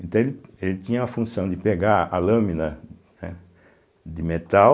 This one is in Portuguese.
Então ele ele tinha a função de pegar a lâmina, né, de metal